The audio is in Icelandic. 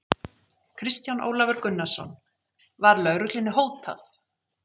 Kristján Ólafur Gunnarsson: Var lögreglunni hótað?